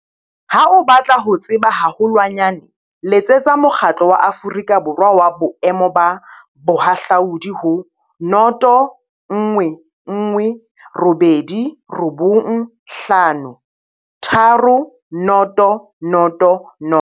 Ha o batla ho tseba haholwanyane letsetsa Mokgatlo wa Aforika Borwa wa Boemo ba Bohahlaudi ho 011 895 3000.